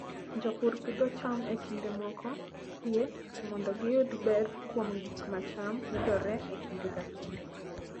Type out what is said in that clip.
Jopur pidho cham e kinde moko sie mondo giyud ber kuom gik ma cham yudore e kinde ka kinde.